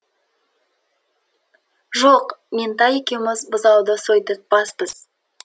жоқ меңтай екеуміз бұзауды сойдыртпаспыз